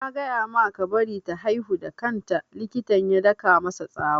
Na ce maka ka bari ta haihu da kan ta! Likitan ya daka masa tsawa